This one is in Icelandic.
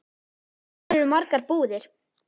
Þar eru margar búðir.